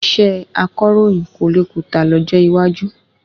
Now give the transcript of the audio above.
Iṣẹ́ akọ̀ròyìn kò le kùtà lọ́jọ́ iwájú